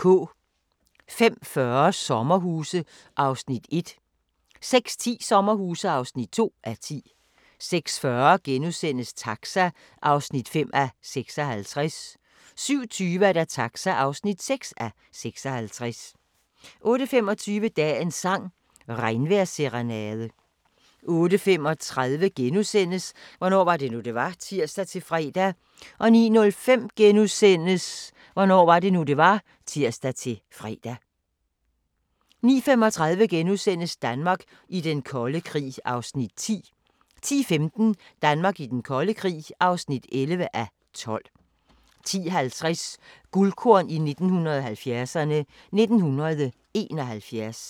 05:40: Sommerhuse (1:10) 06:10: Sommerhuse (2:10) 06:40: Taxa (5:56)* 07:20: Taxa (6:56) 08:25: Dagens sang: Regnvejrsserenade 08:35: Hvornår var det nu, det var? *(tir-fre) 09:05: Hvornår var det nu, det var? *(tir-fre) 09:35: Danmark i den kolde krig (10:12)* 10:15: Danmark i den kolde krig (11:12) 10:50: Guldkorn 1970'erne: 1971